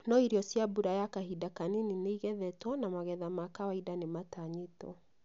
No irio cia mbura ya kahinda kanini nĩigethetwo na magetha ma kawaida nimatanyĩtwo